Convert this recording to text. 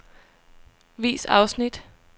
Vis afsnit.